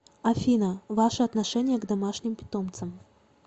афина ваше отношение к домашним питомцам